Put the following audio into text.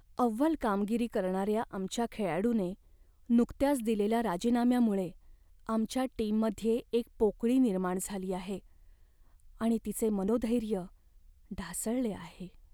अव्वल कामगिरी करणाऱ्या आमच्या खेळाडूने नुकत्याच दिलेल्या राजीनाम्यामुळे आमच्या टीममध्ये एक पोकळी निर्माण झाली आहे आणि तिचे मनोधैर्य ढासळले आहे.